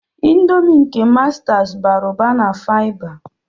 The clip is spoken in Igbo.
Ịndomii nke mastas bara ụba na faiba.